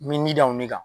N bɛ mi da o de kan